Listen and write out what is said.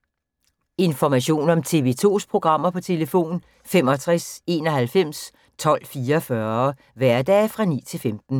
Information om TV 2's programmer: 65 91 12 44, hverdage 9-15.